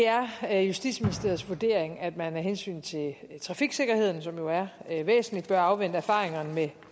er justitsministeriets vurdering at man af hensyn til trafiksikkerheden som jo er er væsentlig bør afvente erfaringerne med